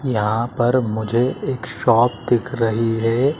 यहां पर मुझे एक शॉप दिख रही है।